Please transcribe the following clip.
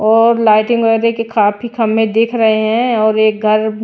और लाइटिंग वगैरह के काफी खंभे दिख रहे हैं और एक घर--